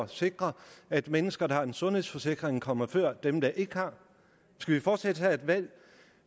sikre at mennesker der har en sundhedsforsikring kommer før dem der ikke har skal vi fortsat have et land